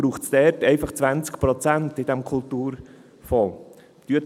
Deshalb braucht es dort einfach 20 Prozent in diesem Kulturfonds.